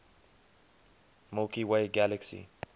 milky way galaxy